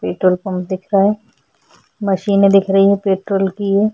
petrol pump दिख रहा है मशीने दिख रही है पेट्रोल की ये --